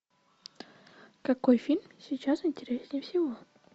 какой фильм сейчас интереснее всего